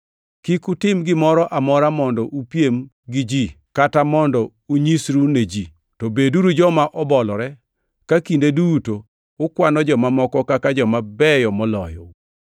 Kik utim gimoro amora mondo upiem gi ji kata mondo unyisru ne ji, to beduru joma obolore, ka kinde duto ukwano joma moko kaka joma beyo moloyou.